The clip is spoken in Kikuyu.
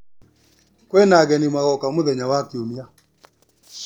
Kwĩna ageni magoka Mũthenya wa kiumia.